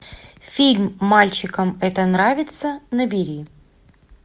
фильм мальчикам это нравится набери